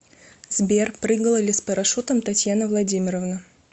сбер прыгала ли с парашютом татьяна владимировна